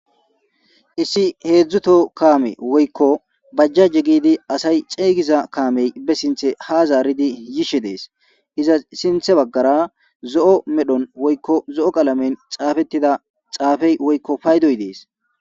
issi heedzdzuto kaame woykko bajjaje gidi asay ceygiza kaamey be sinthe ha zaaridi yishe dees iza sinthe baggara zo7o medhon woykko zo7o qalamen xaafettida xaafey woykko paydoy dees